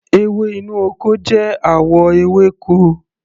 Ewé inú ọkọ jẹ́ àwọ ewéko.